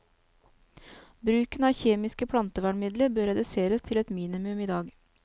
Bruken av kjemiske plantevernmidler bør reduseres til et minimum i dag.